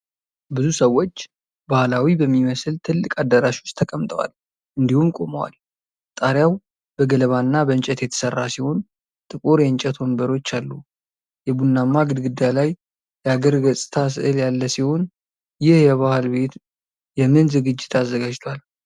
ብዙ ሰዎች ባህላዊ በሚመስል ትልቅ አዳራሽ ውስጥ ተቀምጠዋል እንዲሁም ቆመዋል። ጣሪያው በገለባና በእንጨት የተሰራ ሲሆን፣ ጥቁር የእንጨት ወንበሮች አሉ። የቡናማ ግድግዳ ላይ የአገር ገጽታ ስዕል ያለ ሲሆን፣ ይህ የባህል ቤት የምን ዝግጅት አዘጋጅቷል?